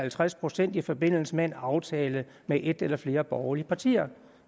halvtreds procent i forbindelse med en aftale med et eller flere borgerlige partier